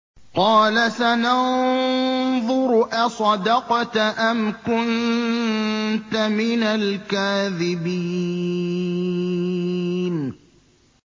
۞ قَالَ سَنَنظُرُ أَصَدَقْتَ أَمْ كُنتَ مِنَ الْكَاذِبِينَ